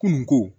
Kununko